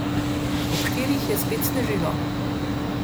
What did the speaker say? Ob štirih je spet snežilo.